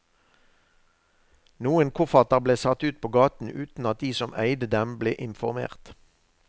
Noen kofferter ble satt ut på gaten uten at de som eide dem ble informert.